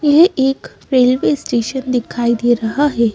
यह एक railway station दिखाई दे रहा है।